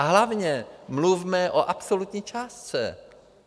A hlavně mluvme o absolutní částce.